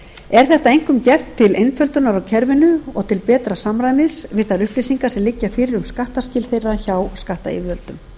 er þetta einkum gert til einföldunar á kerfinu og til betra samræmis við þær upplýsingar sem liggja fyrir um skattskil þessara aðila hjá skattyfirvöldum